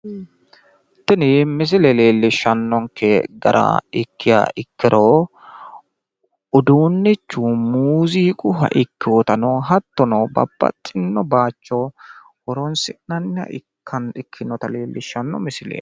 Tini misile leellishshannonkke gara ikkiha ikkiro uduunnichu muuziiqunniha ikkinota hattono babbaxino baayicho horonsi'nanniha ikkinota leellishshanno misileeti.